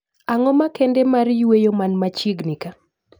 Ang'o makende mar yweyo man machiegni kaa